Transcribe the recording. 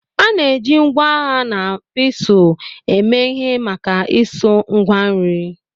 A na-eji ngwa agha na pestle eme ihe maka isu Ngwa nri